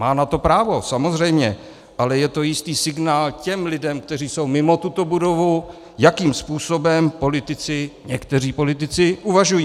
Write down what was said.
Má na to právo, samozřejmě, ale je to jistý signál těm lidem, kteří jsou mimo tuto budovu, jakým způsobem někteří politici uvažují.